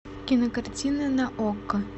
кинокартина на окко